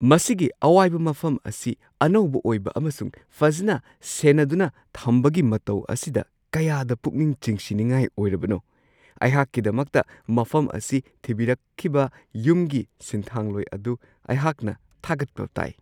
ꯃꯁꯤꯒꯤ ꯑꯋꯥꯏꯕ ꯃꯐꯝ ꯑꯁꯤ ꯑꯅꯧꯕ ꯑꯣꯏꯕ ꯑꯃꯁꯨꯡ ꯐꯖꯅ ꯁꯦꯟꯅꯗꯨꯅ ꯊꯝꯕꯒꯤ ꯃꯇꯧ ꯑꯁꯤꯗ ꯀꯌꯥꯗ ꯄꯨꯛꯅꯤꯡ ꯆꯤꯡꯁꯤꯟꯅꯤꯡꯉꯥꯏ ꯑꯣꯏꯔꯕꯅꯣ! ꯑꯩꯍꯥꯛꯀꯤꯗꯃꯛꯇ ꯃꯐꯝ ꯑꯁꯤ ꯊꯤꯕꯤꯔꯛꯈꯤꯕ ꯌꯨꯝꯒꯤ ꯁꯤꯟꯊꯥꯡꯂꯣꯏ ꯑꯗꯨ ꯑꯩꯍꯥꯛꯅ ꯊꯥꯒꯠꯄ ꯇꯥꯏ ꯫